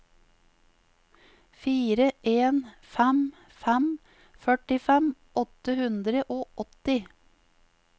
fire en fem fem førtifem åtte hundre og åtti